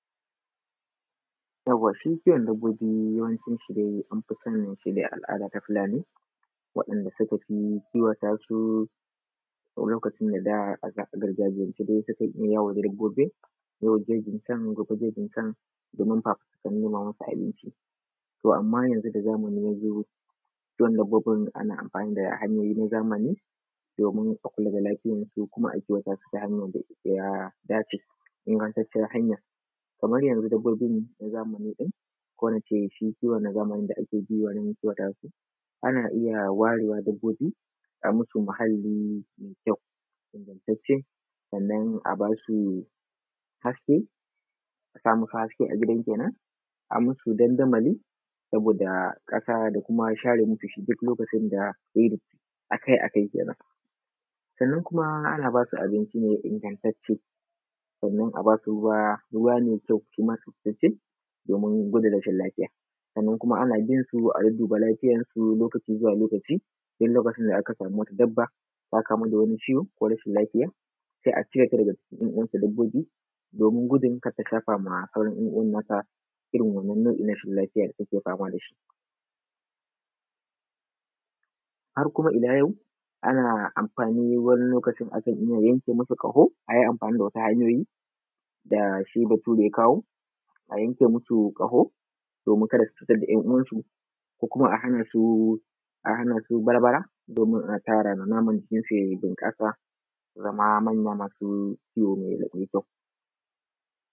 Yauwa, shi kiwon dabbobi yawanci anfi sanin shi ne a al’ada ta Fulani, waɗanda suka fi kiwata su, lokacin da da a gargajiyance sukan iya yawo da dabbobin, yau jeji can gobe jejin can domin fafutukar nema masu abinci. To amma yanzu da zamani ya zo kiwon dabbobin ana amfani da hanyoyi na zamani domin a kula da lafiyansu kuma a kiwata su ta hanyan da ya dace, ingantacciyar hanya. Kamar yanzu dabbobin na zamani ɗin ko nace shi kiwon na zamani da ake bi wurin kiwata su, ana iya ware wa dabbobi, a musu muhalli mai kyau, ingantacce, sannan a ba su haske, a sa musu haske a gidan kenan, a musu dandamali, saboda ƙasa da kuma share musu shi duk lokacin da ya yi datti, akai-akai kenan. Sannan kuma ana ba su abinci ne ingantacce, sannan a ba su ruwa ruwa mai kyau, shima tsaftatacce domin gudun rashin lafiya. Sannan kuma ana binsu a dudduba lafiyarsu shi ma lokaci zuwa lokaci, duk lokacin da aka samu wata dabba ta kamu da wani ciwo ko rashin lafiya, sai a cire ta daga cikin ‘yan uwanta dabbobi, domin gudun kat ta shafawa sauran ‘yan uwan na ta irin wannan nau’in rashin lafiya da take fama da shi. Har kuma ila yau, ana amfani wani lokacin akan iya yanke musu ƙaho, a yi amfani da wasu hanyoyi da shi Bature ya kawo a yanke masu ƙaho domin kada su cutar da ‘yan uwansu, ko kuma a hana su barbara, domin a tara naman jikinsu ya bunƙasa, na ma manya masu kiwo mai kyau.